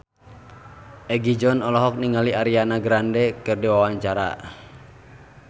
Egi John olohok ningali Ariana Grande keur diwawancara